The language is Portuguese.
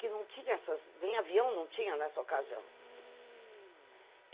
Que não tinha essas... nem avião não tinha nessa ocasião.